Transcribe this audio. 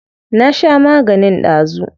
Na sha maganin dazu.